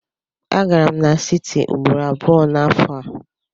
Agara m n'siti ugboro abụọ n'afọ a.